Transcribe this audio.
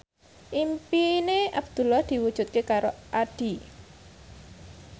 impine Abdullah diwujudke karo Addie